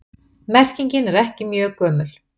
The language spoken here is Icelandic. Merkingin er ekki mjög gömul.